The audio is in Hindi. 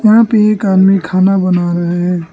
यहां पे एक आदमी खाना बना रहा है।